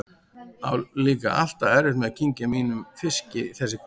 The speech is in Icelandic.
Á líka alltaf erfitt með að kyngja mínum fiski þessi kvöld.